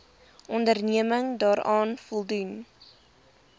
onderneming daaraan voldoen